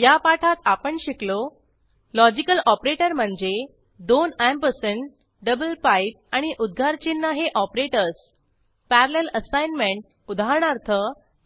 या पाठात आपण शिकलो लॉजिकल ऑपरेटर म्हणजे दोन अँपरसँड डबल पाईप आणि उद्गारचिन्ह हे ऑपरेटर्स पॅरलल असाइनमेंट उदाहरणार्थ